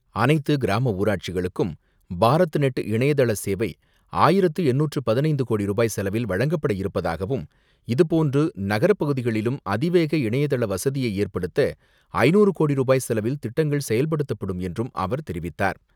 அனைத்து கிராம ஊராட்சிகளுக்கும் பாரத் நெட் இணையதள சேவை ஆயிரத்து எண்ணூற்று பதினைந்து கோடி ரூபாய் செலவில் வழங்கப்பட இருப்பதாகவும், இதுபோன்று நகரப்பகுதிகளிலும் அதிவேக இணையதள வசதியை ஏற்படுத்த ஐநூறு கோடி ரூபாய் செலவில் திட்டங்கள் செயல்படுத்தப்படும் என்றும் அவர் தெரிவித்தார்.